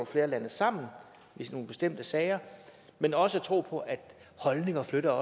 flere lande sammen i nogle bestemte sager men også tro på at holdninger flytter